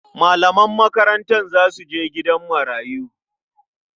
Malaman makarantar za su je gidan marayu.